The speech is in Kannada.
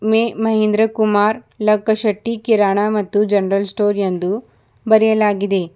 ಮೆ ಮಹಿಂದ್ರ ಕುಮಾರ್ ಲಕ್ಕಶೆಟ್ಟಿ ಕಿರಾಣ ಮತ್ತು ಜನರಲ್ ಸ್ಟೋರ್ ಎಂದು ಬರೆಯಲಾಗಿದೆ.